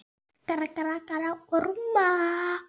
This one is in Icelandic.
Rek ennið í rúðuna.